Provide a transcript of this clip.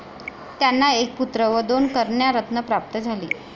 त्यांना एक पुत्र व दोन कन्यारत्न प्राप्त झाली.